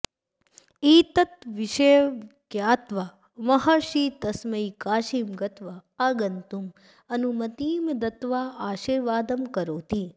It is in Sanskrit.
एतं विषयं ज्ञात्वा महर्षिः तस्मै काशीं गत्वा आगन्तुम् अनुमतिं दत्त्वा आशीर्वादं करोति